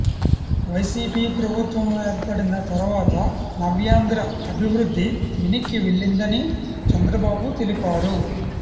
YCP ప్రభుత్వం ఏర్పడిన తర్వాత నవ్యాంధ్ర అభివృద్ది వెనక్కి వెళ్లిందని చంద్రబాబు తెలిపారు